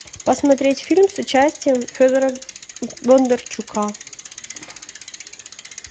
посмотреть фильм с участием федора бондарчука